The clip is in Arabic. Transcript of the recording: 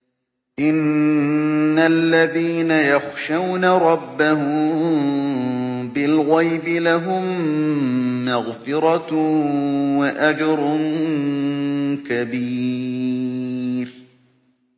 إِنَّ الَّذِينَ يَخْشَوْنَ رَبَّهُم بِالْغَيْبِ لَهُم مَّغْفِرَةٌ وَأَجْرٌ كَبِيرٌ